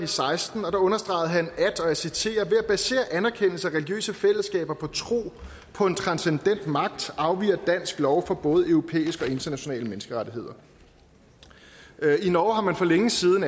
seksten og der understregede han og jeg citerer ved at basere anerkendelse og religiøse fællesskaber på tro på en transcendent magt afviger dansk lov fra både europæiske og internationale menneskerettigheder i norge har man for længe siden